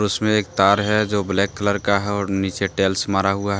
उसके एक तार है जो ब्लैक कलर का है और नीचे टेल्स मारा हुआ है।